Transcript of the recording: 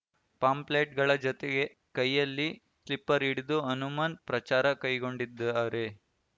ಪಾಂಪ್ಲೆಟ್‌ಗಳ ಜತೆಗೆ ಕೈಯಲ್ಲಿ ಸ್ಲಿಪ್ಪರ್‌ ಹಿಡಿದು ಹನುಮನ್ ಪ್ರಚಾರ ಕೈಗೊಂಡಿದ್ದಾರೆ